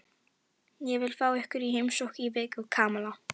Ég vil fá ykkur í heimsókn í viku, Kamilla.